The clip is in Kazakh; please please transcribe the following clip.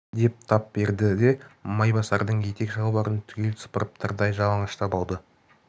деп тап берді де майбасардын етік шалбарын түгел сыпырып тырдай жалаңаштап алды